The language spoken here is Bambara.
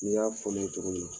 Nin y'a fɔ ne ye cogo min na.